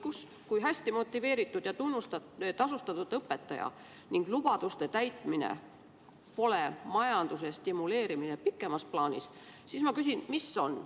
Ent kui hästi motiveeritud ja tunnustatud-tasustatud õpetaja ning lubaduste täitmine pole majanduse stimuleerimine pikemas plaanis, siis ma küsin, mis on.